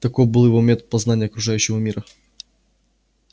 таков был его метод познания окружающего мира